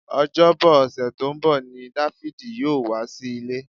Ọjọ́bọ ọ̀sẹ̀ tó ń bọ̀ ni Dáfídì yóò wá sí ilé